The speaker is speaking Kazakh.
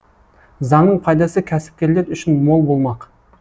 заңның пайдасы кәсіпкерлер үшін мол болмақ